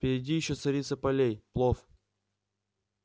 впереди ещё царица полей плов